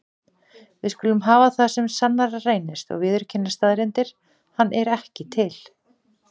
Við skulum hafa það sem sannara reynist og viðurkenna staðreyndir: hann er ekki til.